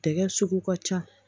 Tɛgɛ sugu ka ca